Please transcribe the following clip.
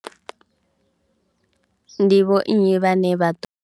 Ndi vho nnyi vhane vha ḓo.